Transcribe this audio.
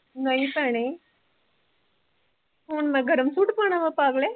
ਨਹੀਂ ਭੈਣੇ ਹੁਣ ਮੈਂ ਗਰਮ ਸੂਟ ਪਾਉਣਾ ਵਾਂ ਪਾਗਲੇ